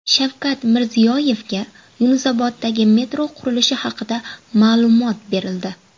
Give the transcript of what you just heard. Shavkat Mirziyoyevga Yunusoboddagi metro qurilishi haqida ma’lumot berildi.